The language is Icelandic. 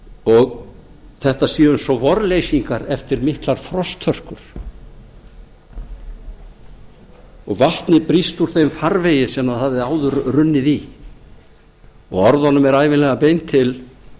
og þetta séu eins og vorleysingar eftir miklar frosthörkur og vatnið brýst úr þeim farvegi þar sem það hafði áður runnið í og orðunum er ævinlega beint til